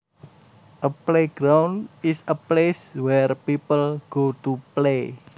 A playground is a place where people go to play